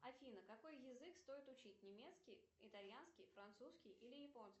афина какой язык стоит учить немецкий итальянский французский или японский